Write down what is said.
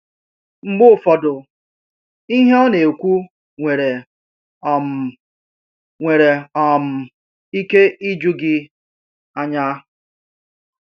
Mgbe ụfọdụ, ihe ọ na-ekwu nwere um nwere um ike iju gị anya.